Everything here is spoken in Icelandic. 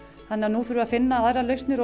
nú erum við að finna aðrar lausnir